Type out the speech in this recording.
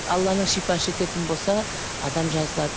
алланың шипасы жететін болса адам жазылады